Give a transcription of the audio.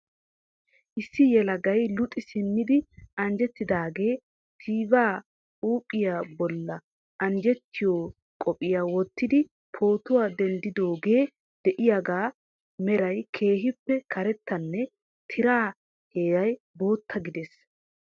Issi yelagay luxi simmidi anjjetidaage tva huuphiyaa bolla anjjetiyo qophiyaa wottidi pootuwa denddidooge de'iyaaga meray keehippe karettanne tiraa heeray bootta gidees.